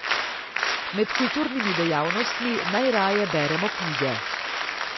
Med kulturnimi dejavnostmi najraje beremo knjige.